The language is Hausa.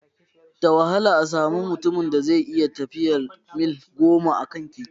Da wahala a samu mutumin da zai iya tafiyar mil goma a kan keke